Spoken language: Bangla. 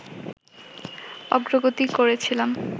অগ্রগতি করেছিলাম